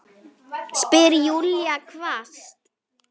spyr Júlía hvasst.